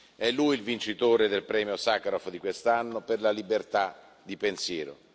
È lui il vincitore del premio Sacharov di quest'anno per la libertà di pensiero.